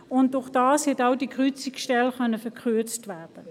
Dadurch konnte die Kreuzungsstelle verkürzt werden.